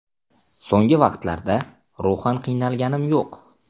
So‘nggi vaqtlarda ruhan qiynalganim yo‘q.